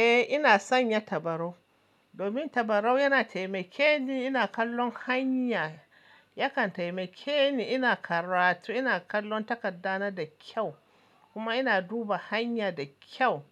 Eh ina son ya tabarau domin tabarau yana taimake ni ina kallon hanya. Yakan taimake ni ina karatu, ina kallon takarda na da kyau kuma ina duba hanya da kyau.